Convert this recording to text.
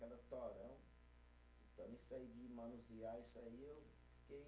Então, isso aí de manusear isso aí, eu fiquei